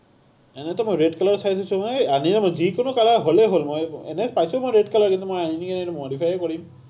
এনেইটো মই red color চাই থৈছো মই, আনিম, যিকোনো color হ’লেই হ’ল, মই এনেই চাইছো মই red colour, কিন্তু মই আনিয়েই modify হে কৰিম।